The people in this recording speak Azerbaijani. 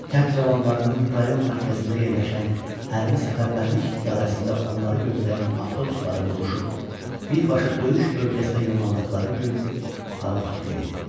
Kənd cavanlarının rayon mərkəzində yerləşən hərbi səfərbərlik idarəsində onları gözləyən avtobuslara doluşub birbaşa döyüş bölgəsinə yollandığı gün hava tutqun idi.